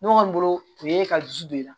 Ne kɔni bolo o ye ka dusu don i la